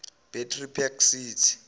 battery park city